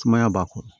Sumaya b'a kɔnɔ